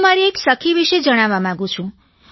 હું મારી એક સખી વિશે જણાવવા માંગુ છું